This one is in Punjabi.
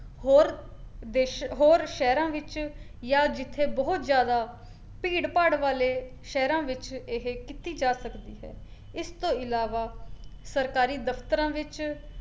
ਹੋਰ ਦੇਸ਼ ਹੋਰ ਸ਼ਹਿਰਾਂ ਵਿੱਚ ਜਾਂ ਜਿੱਥੇ ਬਹੁਤ ਜ਼ਿਆਦਾ ਭੀੜ-ਭਾੜ ਵਾਲੇ ਸ਼ਹਿਰਾਂ ਵਿੱਚ ਇਹ ਕੀਤੀ ਜਾ ਸਕਦੀ ਹੈ, ਇਸਤੋਂ ਇਲਵਾ ਸਰਕਾਰੀ ਦਫਤਰਾਂ ਵਿੱਚ